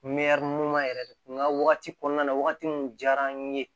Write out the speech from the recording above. ɲuman yɛrɛ de kun ka wagati kɔnɔna na wagati mun diyara an ye